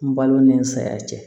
N balo ni saya cɛ